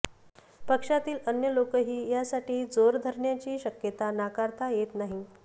पक्षातील अन्य लोकही यासाठी जोर धरण्याची शक्यता नाकारता येत नाही